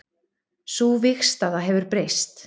Sú vígstaða hefur breyst